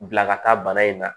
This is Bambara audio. Bila ka taa bana in na